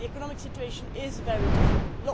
The economic situation is very difficult.